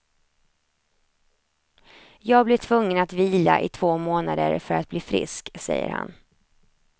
Jag blev tvungen att vila i två månader för att bli frisk, säger han.